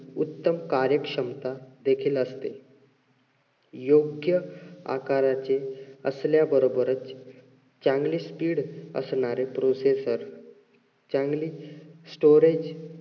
उत्तम कार्यक्षमता देखील असते. योग्य आकाराचे असल्याबरोबरच चांगली speed असणारे processor चांगली storage